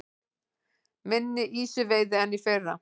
Minni ýsuveiði en í fyrra